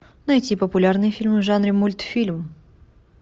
найти популярные фильмы в жанре мультфильм